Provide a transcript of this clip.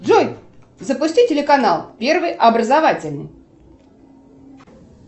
джой запусти телеканал первый образовательный